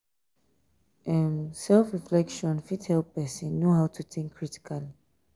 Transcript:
person fit manage stress um and emotion when im know im self um um